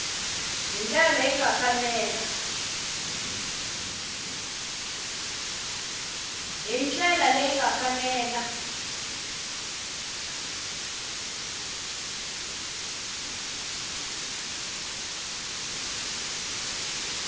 hi ndlela leyi nga fanela